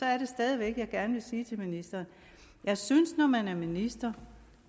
jeg stadig væk gerne sige til ministeren at jeg synes når man er minister